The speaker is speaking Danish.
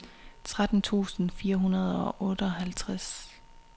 tretten tusind fire hundrede og otteoghalvtreds